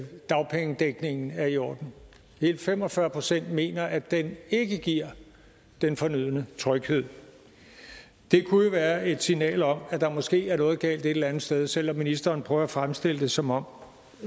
dagpengedækningen er i orden hele fem og fyrre procent mener at den ikke giver den fornødne tryghed det kunne jo være et signal om at der måske er noget galt et eller andet sted selv om ministeren prøver at fremstille det som om